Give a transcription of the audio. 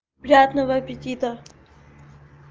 приятного аппетита